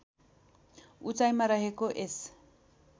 उचाईमा रहेको यस